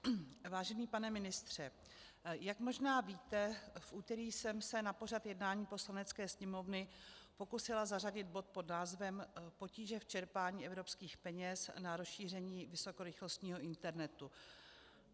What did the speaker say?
Vážený pane ministře, jak možná víte, v úterý jsem se na pořad jednání Poslanecké sněmovny pokusila zařadit bod pod názvem Potíže v čerpání evropských peněz na rozšíření vysokorychlostního internetu.